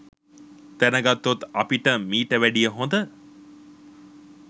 දැනගත්තොත් අපිට මීට වැඩිය හොඳ